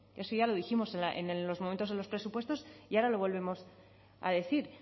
eso ya lo dijimos en los momentos en los presupuestos y ahora lo volvemos a decir